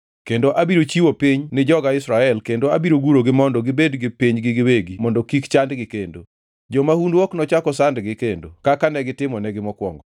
Kendo abiro chiwo piny ni joga Israel kendo abiro gurogi mondo gibed gi pinygi giwegi mondo kik chandgi kendo. Jomahundu ok nochak osandgi kendo kaka negitimonegi mokwongo,